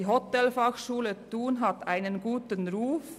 Die Hotelfachschule Thun hat einen guten Ruf.